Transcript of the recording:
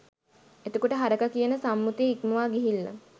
එතකොට හරකා කියන සම්මුතිය ඉක්මවා ගිහිල්ල